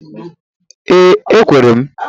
Ee ekwere m.